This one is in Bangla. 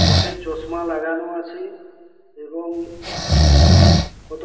চোখে চশমা লাগানো আছে এবং কতো--